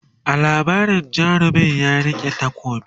a labarin jarumin ya rike takobi